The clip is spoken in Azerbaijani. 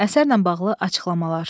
Əsərlə bağlı açıqlamalar.